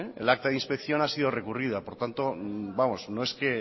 el acta de inspección ha sido recurrida por tanto no es que